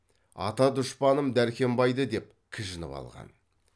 ата дұшпаным дәркембайды деп кіжініп қалған